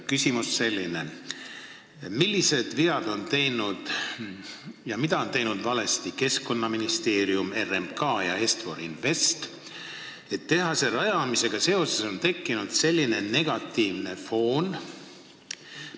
Küsimus selline: mida on Keskkonnaministeerium, RMK ja Est-For Invest valesti teinud, et tehase rajamisega seoses on tekkinud selline negatiivne foon?